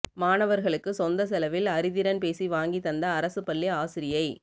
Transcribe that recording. மாணவர்களுக்கு சொந்த செலவில் அறிதிறன்பேசி வாங்கித் தந்த அரசுப் பள்ளி ஆசிரியை